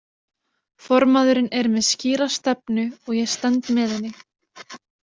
Formaðurinn er með skýra stefnu og ég stend með henni.